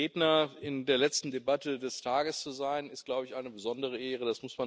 Der letzte Redner in der letzten Debatte des Tages zu sein, ist, glaube ich, eine besondere Ehre.